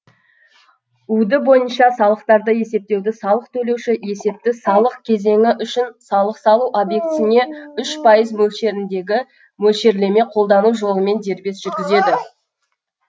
уд бойынша салықтарды есептеуді салық төлеуші есепті салық кезеңі үшін салық салу объектісіне үш пайыз мөлшеріндегі мөлшерлеме қолдану жолымен дербес жүргізеді